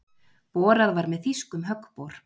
Borað var með þýskum höggbor.